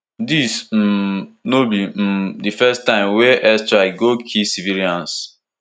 dis um no be um di first time wey air strike go kill civilians